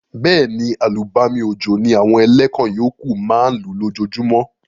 Béèni, àlùbami òjò ni àwon eléwon yókù ma n lú lójojúmó